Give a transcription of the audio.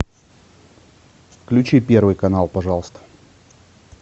включи первый канал пожалуйста